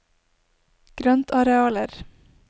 grøntarealer